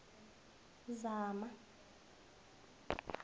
zama